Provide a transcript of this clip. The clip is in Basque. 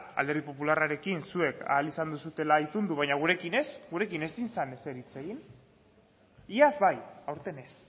alderdi popularrarekin zuek ahal izan duzuela itundu baina gurekin ez gurekin ezin zen ezer hitz egin iaz bai aurten ez